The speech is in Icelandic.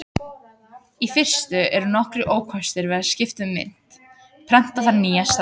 Í fyrstu eru nokkrir ókostir við að skipta um mynt: Prenta þarf nýja seðla.